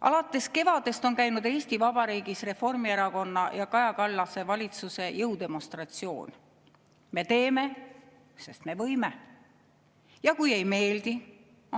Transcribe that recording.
Alates kevadest on käinud Eesti Vabariigis Reformierakonna ja Kaja Kallase valitsuse jõudemonstratsioon: me teeme, sest me võime, ja kui ei meeldi,